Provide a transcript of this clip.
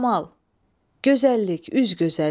Camal, gözəllik, üz gözəlliyi.